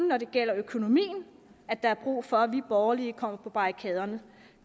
når det gælder økonomien at der er brug for at vi borgerlige kommer på barrikaderne